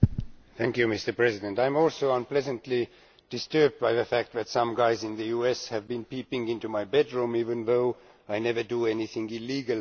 Mr President, I am also unpleasantly disturbed by the fact that some guys in the US have been peeping into my bedroom even though I never do anything illegal there.